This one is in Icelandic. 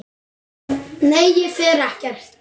Nei, ég fer ekkert.